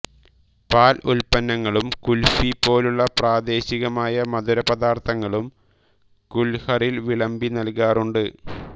പാൽ ഉൽപന്നങ്ങളും കുൽഫി പോലുള്ള പ്രാദേശികമായ മധുരപദാർത്ഥങ്ങളും കുൽഹറിൽ വിളമ്പി നൽകാറുണ്ട്